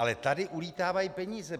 Ale tady ulétávají peníze.